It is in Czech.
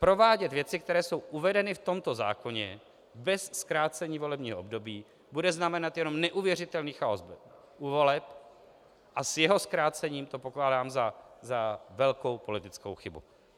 Provádět věci, které jsou uvedeny v tomto zákoně, bez zkrácení volebního období, bude znamenat jenom neuvěřitelný chaos u voleb, a s jeho zkrácením to pokládám za velkou politickou chybu.